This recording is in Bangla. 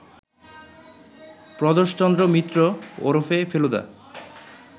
প্রদোষচন্দ্র মিত্র ওরফে ফেলুদা